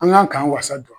An kan k'an wasa don